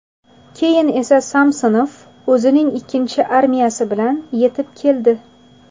Keyin esa Samsonov o‘zining ikkinchi armiyasi bilan yetib keldi.